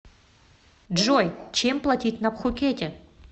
джой чем платить на пхукете